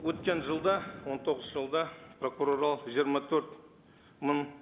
өткен жылда он тоғызыншы жылда прокурорлар жиырма төрт мың